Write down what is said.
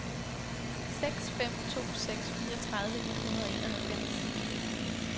seks fem to seks fireogtredive et hundrede og enoghalvfems